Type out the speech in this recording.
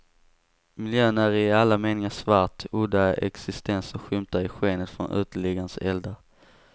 Miljön är i alla meningar svart, udda existenser skymtar i skenet från uteliggares eldar.